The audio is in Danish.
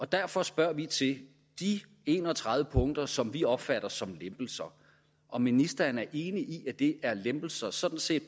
derfor spørger vi til de en og tredive punkter som vi opfatter som lempelser om ministeren er enig i at det er lempelser sådan set